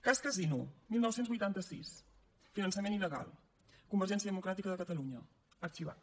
cas casinos dinou vuitanta sis finançament il·legal convergència democràtica de catalunya arxivat